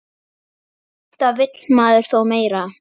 Alltaf vill maður þó meira.